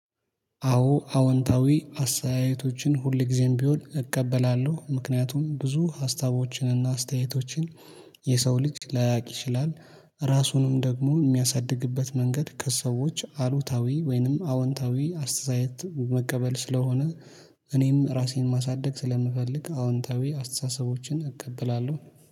አዎ አዎንታዊ አስተያየቶችን ሁል ጊዜም ቢሆን እቀበላለሁ ምክንያቱም ብዙ ሀሳቦችን እና አስተያየቶችን የሰው ልጅ ላያውቅ ይችላል። ራሱንም ደግሞ የሚያሳድግበት መንገድ ከሰዎች አሉታዊ ወይንም አወንታዊ አስተያየት መቀበል ስለሆነ። እኔም ራሴን ማሳደግ ስለምፈልግ አዎንታዊ አስተሳሰቦችን እቀበላለሁ